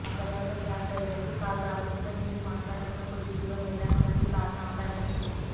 ఆ తర్వాత క్యాబ్ డ్రైవర్కు కాల్ రావడంతో ఏమీ మాట్లాడకుండా కొద్దిదూరం వెళ్లాక మళ్లీ కారుని ఆపాడని చెప్పింది